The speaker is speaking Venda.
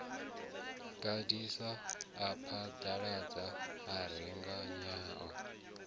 gandisa a phaḓaladza a rengenyela